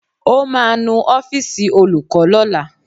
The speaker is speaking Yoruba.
Ó ma nu ọ́fìsì Olùkó lọ́la.